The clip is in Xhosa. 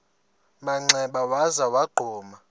manxeba waza wagquma